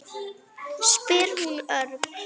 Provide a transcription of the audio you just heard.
spyr hún örg.